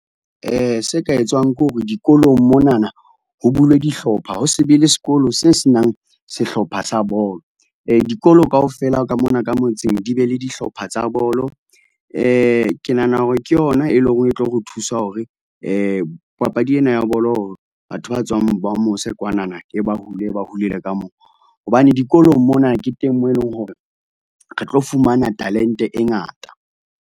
Se ka etswang ke hore dikolong monana ho bulwe dihlopha, ho se be le sekolo se senang sehlopha sa bolo. Dikolo kaofela ka mona ka motseng di be le dihlopha tsa bolo, ke nahana hore ke yona e leng hore e tlo re thusa hore, papadi ena ya bolo batho ba tswang ba mose kwanana, e ba hula, e ba hulele ka mo. Hobane dikolong mona ke teng moo eleng hore re tlo fumana talente ngata.